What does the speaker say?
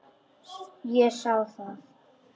Ég sá það.